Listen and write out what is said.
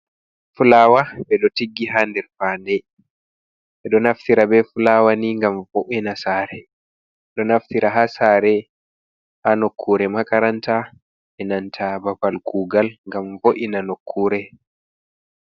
Fulawa ɓeɗo tiggi ha nder fa nde ɓeɗo nafthira be fulawa ni ngam vo'ena sare ɓeɗo naftira ha sare hanokkure makaranta enanta babal kugal ngam vo'ina nokkure.